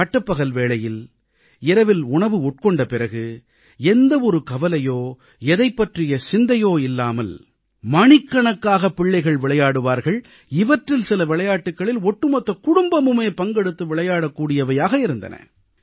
பட்டப்பகல் வேளையில் இரவில் உணவு உண்ட பிறகு எந்த ஒரு கவலையோ எதைப் பற்றிய சிந்தையோ கொள்ளாமல் மணிக்கணக்காக பிள்ளைகள் விளையாடுவார்கள் இவற்றில் சில விளையாட்டுகளில் ஒட்டுமொத்த குடும்பமுமே பங்கெடுத்து விளையாடக்கூடியவையாக இருந்தன